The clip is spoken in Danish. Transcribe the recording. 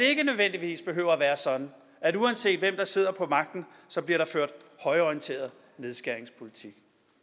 ikke nødvendigvis behøver at være sådan at uanset hvem der sidder på magten bliver der ført højreorienteret nedskæringspolitik